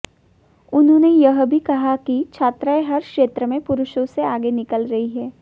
उन्होंने यह भी कहा कि छात्राएं हर क्षेत्र में पुरुषों से आगे निकल रही हैं